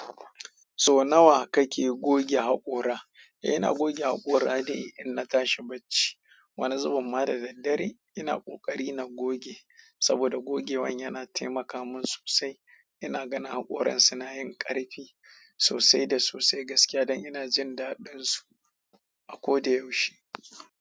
So nawa kake goge haƙora? Ina goge haƙora dai in na tashi bacci. Wani zubin ma da daddare ina ƙoƙari na goge saboda gogewan yana taimaka min sosai. Ina ganin haƙoran suna yin ƙarfi sosai da sosai gaskiya dan ina jin daɗin su a ko da yaushe.